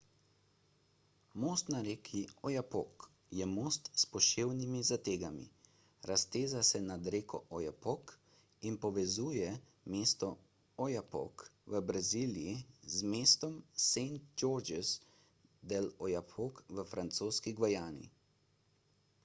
most na reki oyapock je most s poševnimi zategami razteza se nad reko oyapock in povezuje mesto oiapoque v braziliji z mestom saint georges de l'oyapock v francoski gvajani